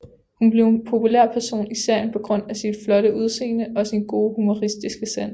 Hun blev en populær person i serien på grund af sit flotte udsende og sin gode humoristiske sans